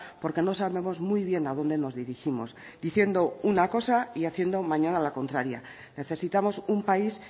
porque no sabemos muy bien a dónde nos dirigimos diciendo una cosa y haciendo mañana la contraria necesitamos un país